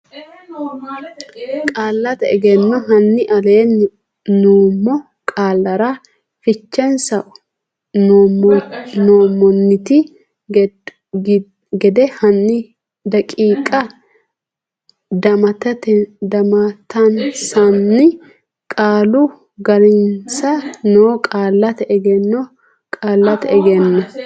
Qaallate Egenno hanni aleenni nummo qaallara fichensa nummonte gede hanni daqiiqa damattensanna qaalu ga rensa no Qaallate Egenno Qaallate Egenno.